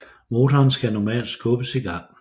Motoren skal normalt skubbes i gang